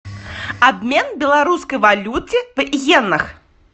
обмен белорусской валюты в йенах